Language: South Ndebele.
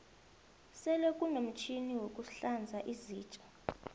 sele kunomtjhini wokuhlanza izitja